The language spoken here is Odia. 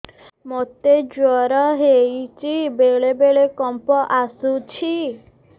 ମୋତେ ଜ୍ୱର ହେଇଚି ବେଳେ ବେଳେ କମ୍ପ ଆସୁଛି